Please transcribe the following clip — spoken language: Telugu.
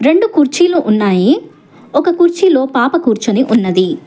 రెండు కుర్చీలు ఉన్నాయి ఒక కుర్చీలో పాప కూర్చొని ఉన్నది.